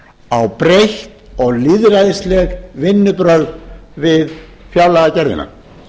á breytt og lýðræðisleg vinnubrögð við fjárlagagerðina